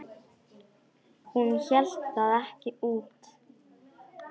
Hún hélt það ekki út!